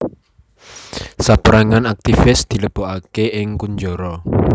Saperangan aktivis dilebokake ing kunjara